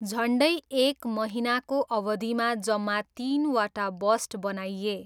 झन्डै एक महिनाको अवधिमा जम्मा तिनवटा बस्ट बनाइए।